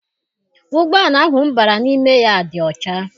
Ụgbọala ahụ m bara n'ime ya dị ọcha.